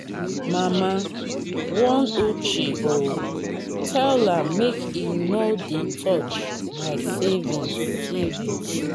mama warn uche oo tell am make he no dey touch my savings savings